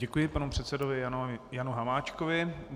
Děkuji panu předsedovi Janu Hamáčkovi.